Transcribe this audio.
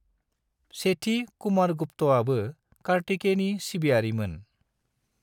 सेथि कुमारगुप्तआबो कार्तिकेयनि सिबियारि मोन।